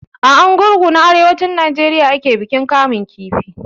A Arugungu na arewacin Najeriya ake bikin kamun kifi.